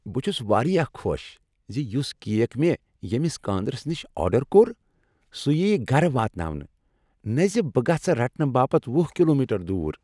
بہٕ چھس واریاہ خوش زِ یس کیک مےٚ ییمس کاندرِس نش آرڈر کوٚر سُہ یییہ گرٕ واتناونہٕ نہ زِ بہٕ گژھہٕ رٹنہ باپت وُہ کلومیٹر دور۔